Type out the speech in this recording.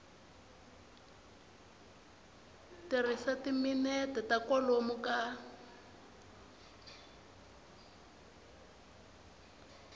tirhisa timinete ta kwalomu ka